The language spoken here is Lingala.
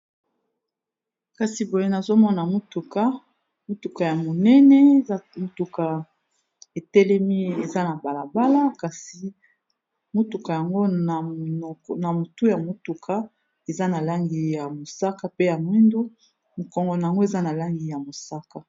Kasi boye nazomona motuka ya monene etelemi eza na balabala kasi motuka yango na motu ya motuka eza na langi ya mosaka pe ya mwindu mokongo na yango eza na langi ya mosaka.